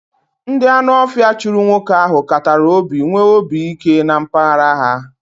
Ndị Anu ofia chụrụ nwoke ahụ katara obi nwee obi ike na mpaghara ya